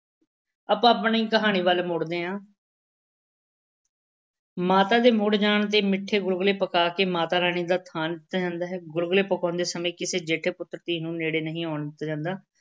ਆਪਾਂ ਆਪਣੀ ਕਹਾਣੀ ਵੱਲ ਮੁੜਦੇ ਹਾਂ। ਮਾਤਾ ਦੇ ਮੁੜ ਜਾਣ ਤੇ ਮਿੱਠੇ ਗੁਲਗੁਲੇ ਪਕਾ ਕੇ ਮਾਤਾ ਰਾਣੀ ਦਾ ਉਥਾਨ ਕੀਤਾ ਜਾਂਦਾ ਹੈ। ਗੁਲਗੁਲੇ ਪਕਾਉਂਦੇ ਸਮੇਂ ਕਿਸੇ ਜੇਠੇ ਪੁੱਤ ਧੀ ਨੂੰ ਨੇੜੇ ਨਹੀਂ ਆਉਣ ਦਿੱਤਾ ਜਾਂਦਾ।